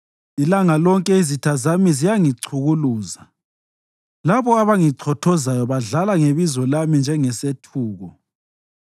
Ilanga lonke izitha zami ziyangichukuluza; labo abangichothozayo badlala ngebizo lami njengesethuko.